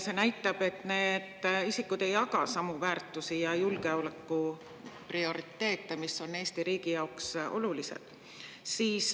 See näitab, et need isikud ei jaga samu väärtusi ja julgeolekuprioriteete, mis on Eesti riigi jaoks olulised.